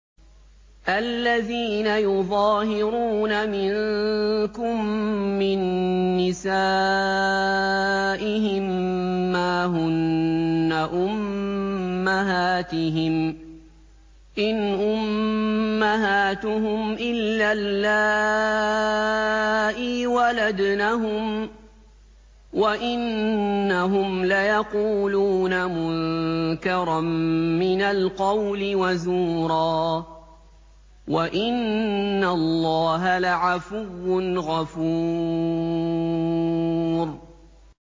الَّذِينَ يُظَاهِرُونَ مِنكُم مِّن نِّسَائِهِم مَّا هُنَّ أُمَّهَاتِهِمْ ۖ إِنْ أُمَّهَاتُهُمْ إِلَّا اللَّائِي وَلَدْنَهُمْ ۚ وَإِنَّهُمْ لَيَقُولُونَ مُنكَرًا مِّنَ الْقَوْلِ وَزُورًا ۚ وَإِنَّ اللَّهَ لَعَفُوٌّ غَفُورٌ